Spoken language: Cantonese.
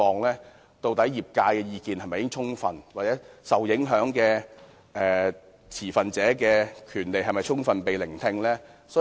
究竟業界的意見是否已充分被聆聽，受影響持份者的權利是否受到顧及？